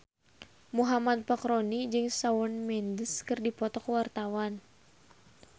Muhammad Fachroni jeung Shawn Mendes keur dipoto ku wartawan